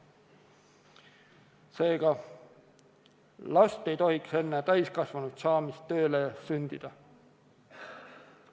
Seega, last ei tohiks enne täiskasvanuks saamist tööle sundida.